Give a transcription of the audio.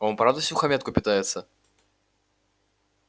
он правда всухомятку питается